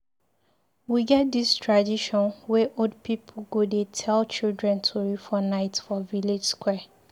We get dis tradition wey old pipu go dey tell children tori for night for village square.